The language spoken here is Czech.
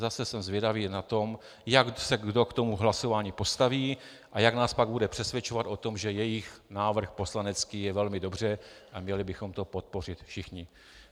Zase jsem zvědavý na to, jak se kdo k tomu hlasování postaví a jak nás pak bude přesvědčovat o tom, že jejich návrh poslanecký je velmi dobře a měli bychom to podpořit všichni.